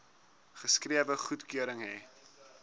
geskrewe goedkeuring hê